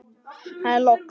Það er logn.